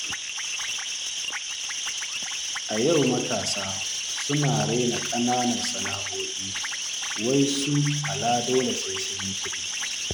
A yau matasa suna raina ƙananan sana'o'i, wai su aladole sai sun yi kuɗi.